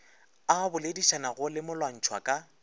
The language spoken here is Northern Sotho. a boledišanago le molwantšhwa ka